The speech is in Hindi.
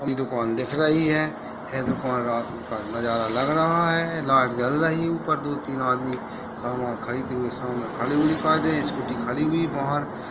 यह दुकान दिख रही है यह दुकान में रात का नजारा लग रहा है। लाइट जल रही है ऊपर दो-तीन आदमी सामान खरीदते हुए सामान सामने खड़े हुए दिखाई दे रहे हैं स्कूटी खड़ी हुई बाहर।